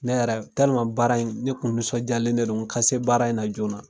Ne yɛrɛ, baara in , ne kun nisɔndiyalen de don nka se baara in na joona.